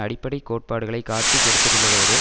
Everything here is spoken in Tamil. அடிப்படை கோட்பாடுகளைக் காட்டிக் கொடுத்திருந்ததோடு